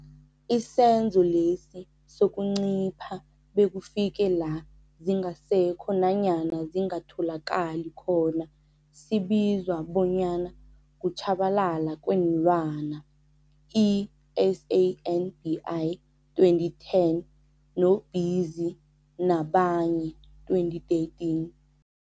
Isenzo lesi sokuncipha bekufike la zingasekho nanyana zingatholakali khona sibizwa bonyana kutjhabalala kweenlwana, I-SANBI 2010, no-Pizzi nabanye, 2013.